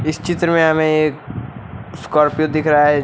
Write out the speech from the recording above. इस चित्र में हमें एक स्कॉर्पियो दिख रहा है।